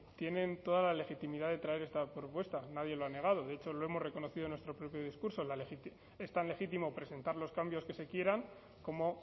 tienen toda la legitimidad de traer esta propuesta nadie lo ha negado de hecho lo hemos reconocido en nuestro propio discurso es tan legítimo presentar los cambios que se quieran como